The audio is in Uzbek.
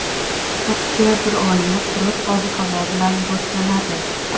oktyabr oyi quruq ob-havo bilan boshlanadi.